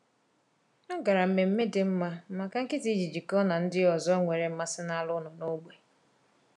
Ọ gara mmemme dị mma maka nkịta iji jikọọ na ndị ọzọ nwere mmasị n’anụ ụlọ n’ógbè.